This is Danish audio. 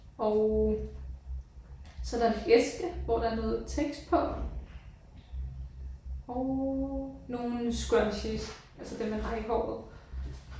Og så er der en æske hvor der er noget tekst på og nogle scrunchies altså dem man har i håret